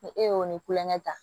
Ni e y'o ni kulonkɛ ta